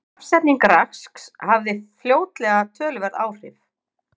Stafsetning Rasks hafði fljótlega töluverð áhrif.